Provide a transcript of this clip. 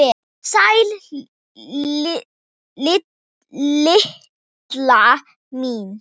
Sæl Lilla mín!